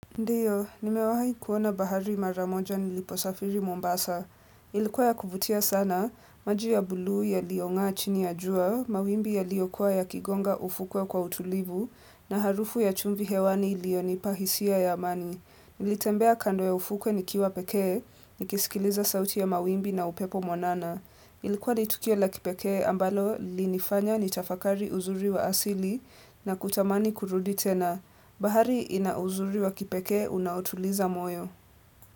Ndiyo, nimewahi kuona bahari mara moja niliposafiri Mombasa. Ilikuwa ya kuvutia sana, maji ya buluu yaliyong'aa chini ya jua, mawimbi yaliyokua yakigonga ufukwe kwa utulivu, na harufu ya chumvi hewani iliyonipa hisia ya amani. Nilitembea kando ya ufukwe nikiwa pekee, nikisikiliza sauti ya mawimbi na upepo mwanana. Ilikuwa ni tukio la kipekee ambalo lilinifanya nitafakari uzuri wa asili na kutamani kurudi tena. Bahari ina uzuri wa kipekee unaoutuliza moyo.